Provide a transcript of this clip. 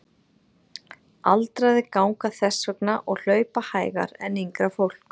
Aldraðir ganga þess vegna og hlaupa hægar en yngra fólk.